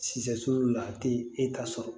Siyɛso la a tɛ e ta sɔrɔ